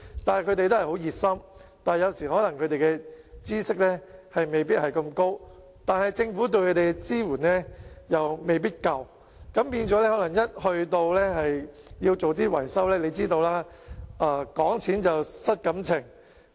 他們十分熱心，但有關的知識可能不多，而政府對他們提供的支援亦未必足夠，導致在進行維修的時候便"講錢失感情"。